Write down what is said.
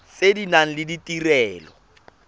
tse di nang le ditirelo